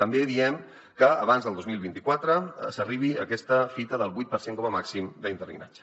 també diem que abans del dos mil vint quatre s’arribi a aquesta fita del vuit per cent com a màxim d’interinatge